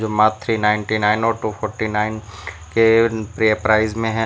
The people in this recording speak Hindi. मात्र थ्री नाइंटी नाइन और टू फोर्टी नाइन के प्राइज में है।